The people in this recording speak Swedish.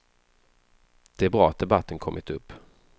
Det är bra att debatten kommit upp.